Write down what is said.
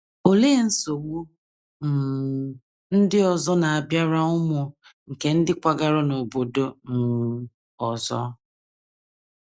Olee nsogbu um ndị ọzọ na - abịara ụmụ nke ndị kwagara n’obodo um ọzọ?